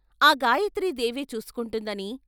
ఆ గాయత్రీ దేవే చూసుకుంటుందని